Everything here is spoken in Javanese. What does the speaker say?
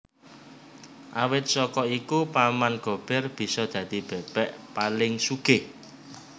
Awit saka iku Paman Gober bisa dadi bebek paling sugih